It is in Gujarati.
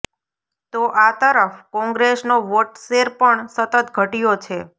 તો આ તરફ કોંગ્રેસનો વોટશેર પણ સતત ઘટ્યો છે